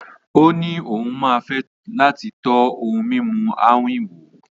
Ó ní òun máa fẹ́ láti tọ́ ohun mímu àwín wò.